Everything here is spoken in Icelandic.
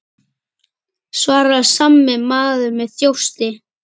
svaraði sami maður með þjósti.